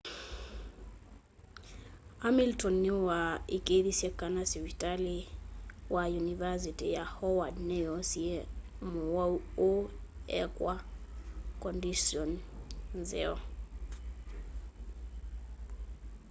hamilton nĩwaĩkĩĩthĩsye kana sĩvitalĩ wa yũnĩvasĩtĩ ya howard nĩyoosĩe mũwaũ ũũ ekwa kondisyoni nzeo